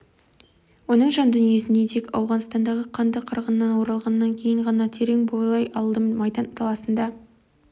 оның жан дүниесіне тек ауғанстандағы қанды қырғыннан оралғаннан кейін ғана терең бойлай алдым майдан даласында